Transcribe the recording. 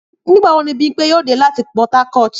Nígbà wo ni Bímpé yóò dé láti Port Harcourt?